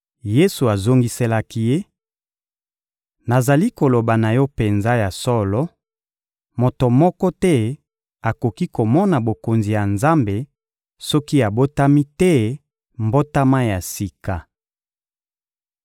Yesu azongiselaki ye: — Nazali koloba na yo penza ya solo: moto moko te akoki komona Bokonzi ya Nzambe soki abotami te mbotama ya sika.